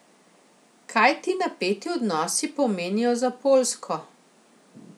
Kaj ti napeti odnosi pomenijo za Poljsko?